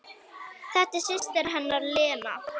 Þetta er systir hennar Lena.